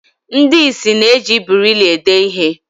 Ndi ̣ịsị na-eji birili ede ihe